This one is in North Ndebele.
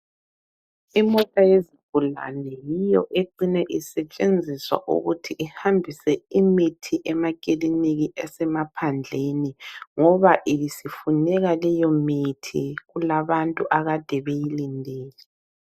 Imota yezigulane yiyo ecine isetshenziswa ukuthi ihambise imithi emakilinika asemaphandleni ngoba ibisifuneka leyomithi kulabantu abakade beyilindele.